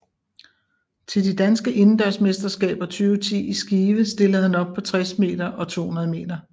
Til de danske indendørsmesterskaber 2010 i Skive stillede han op på 60 meter og 200 meter